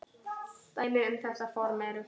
Dæmi um þetta form eru